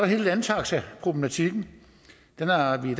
hele landtaxaproblematikken den har vi